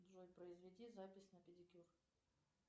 джой произведи запись на педикюр